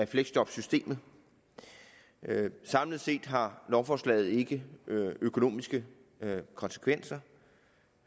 fleksjobsystemet samlet set har lovforslaget ikke økonomiske konsekvenser